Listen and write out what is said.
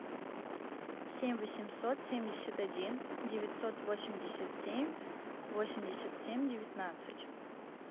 семь восемьсот семьдесят один девятьсот восемьдесят семь восемьдесят семь девятнадцать